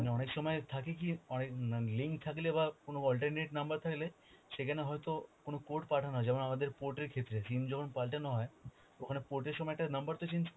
মানে অনেক সময় থাকে কি অনেক না ~ link থাকলে বা কোন alternate number থাকলে সেখানে হয়তো কোন code পাঠানো যায় না, যেমন আমাদের port এর ক্ষেত্রে, SIM যখন পাল্টানো হয় ওখানে port এর সময় একটা number তো change